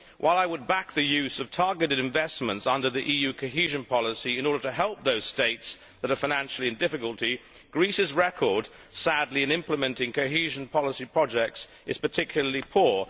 While I would back the use of targeted investments under the EU cohesion policy in order to help those States that are in financial difficulty, Greece's record sadly in implementing cohesion policy projects is particularly poor.